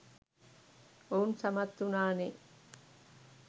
ඔවුන් සමත් වුණානේ.